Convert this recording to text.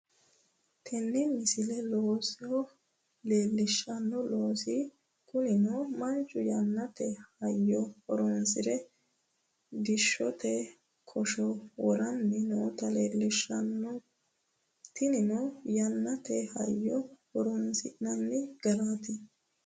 tini misile looso leellishshanno loosu kunino manchu yannate hayyo horonsire diishshote kosho woranni noota leellishshanno tinino yannate hayyo horonsi'nanni garaati